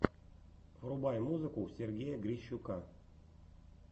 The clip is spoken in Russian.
врубай музыку сергея грищука